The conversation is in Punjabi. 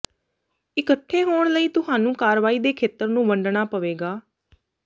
ਇਕੱਠੇ ਹੋਣ ਲਈ ਤੁਹਾਨੂੰ ਕਾਰਵਾਈ ਦੇ ਖੇਤਰ ਨੂੰ ਵੰਡਣਾ ਪਵੇਗਾ